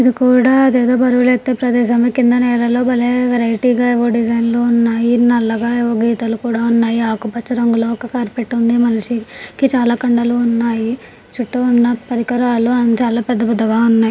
ఇది కూడా జత బరువులు ఎత్తే ప్రదేశం. కింద నేలలో భలే వెరైటీగా ఏవో డిజైన్ లు ఉన్నాయ్. ఈ నల్లగా ఏవో గీతలు కూడా ఉన్నాయి. ఆకు పచ్చ రంగులో ఒక కార్పెట్ ఉంది మనిషి కి చాలా కండలు ఉన్నాయి. చుట్టూ ఉన్న పరికరాలు అం చాలా పెద్ద పెద్దగా ఉన్నాయ్.